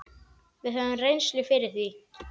Við höfum reynslu fyrir því.